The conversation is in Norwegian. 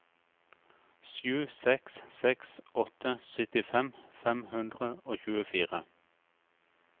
sju seks seks åtte syttifem fem hundre og tjuefire